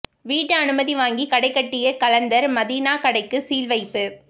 வீட்டு அனுமதி வாங்கி கடை கட்டிய கலந்தர் மதீனா கடைக்கு சீல் வைப்பு